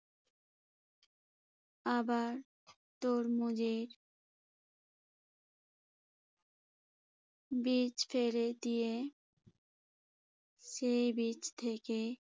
আবার তরমুজের বীজ ফেলে দিয়ে সেই বীজ থেকে